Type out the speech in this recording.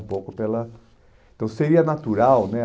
um pouco pela... Então seria natural, né?